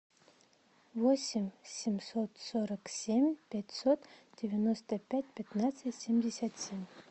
восемь семьсот сорок семь пятьсот девяносто пять пятнадцать семьдесят семь